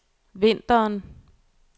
vinteren